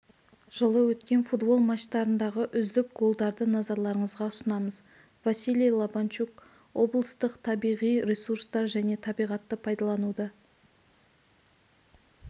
жылы өткен футбол матчтарындағы үздік голдарды назарларыңызға ұсынамыз василий лабанчук облыстық табиғи ресурстар және табиғатты пайдалануды